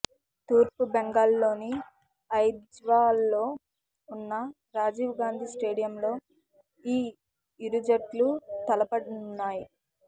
తూర్పు బెంగాల్లోని ఐజ్వాల్లో ఉన్న రాజీవ్ గాంధీ స్టేడియంలో ఈ ఇరుజట్లు తలపడనున్నాయి